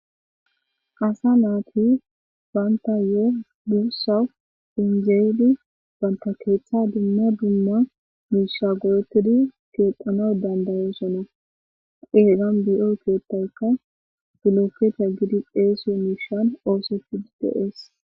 asa naati baanta yo dursa phinzeeli banta keeththa dumma dumma mishagoetidi keeqana dandayoosona egan bi7oy keettaykka gilopkeeta gidi deesiyo mishan oosefidi deees